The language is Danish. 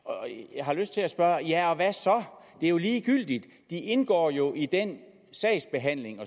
jeg har lyst til at spørge ja og hvad så det er jo ligegyldigt de indgår jo i den sagsbehandling